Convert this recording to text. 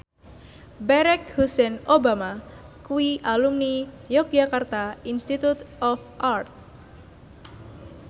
Barack Hussein Obama kuwi alumni Yogyakarta Institute of Art